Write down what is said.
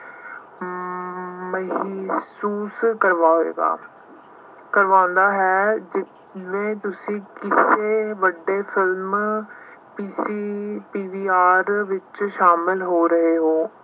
ਮਹਿਸੂਸ ਕਰਵਾਏਗਾ। ਕਰਵਾਉਂਦਾ ਹੈ। ਜਿਸ ਵਿੱਚ ਤੁਸੀਂ ਕਿਸੇ ਵੱਡੇ ਫਿਲਮ ਦੀ PVR ਵਿੱਚ ਸ਼ਾਮਿਲ ਹੋ ਰਹੇ ਹੋ।